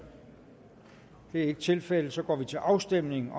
det er ikke tilfældet så går vi til afstemning